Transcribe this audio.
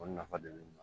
O nafa de be ne bolo